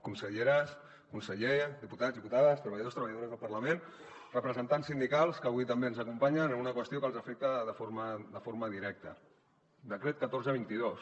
conselleres conseller diputats diputades treballadors treballadores del parlament representants sindicals que avui també ens acompanyen en una qüestió que els afecta de forma directa decret catorze dos mil vint dos